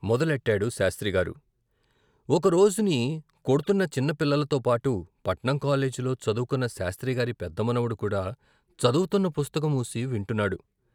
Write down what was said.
మొదలెట్టాడు శాస్త్రి గారు, ఒక రోజుని కొడ్తున్న చిన్న పిల్లలతో పాటు పట్నం కాలేజీలో చదువుకున్న శాస్త్రి గారి పెద్ద మనవడు కూడా చదువుతున్న పుస్తకం మూసి వింటున్నాడు.